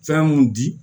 Fɛn mun di